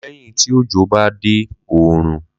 Lẹ́yìn tí òjò bá dé oòrùn.